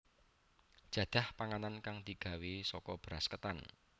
Jadah panganan kang digawé saka beras ketan